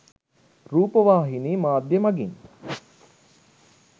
රූපවාහිනි මාධ්‍ය මඟින්